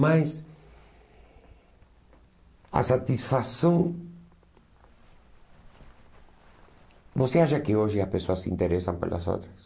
Mas a satisfação... Você acha que hoje as pessoas se interessam pelas outras?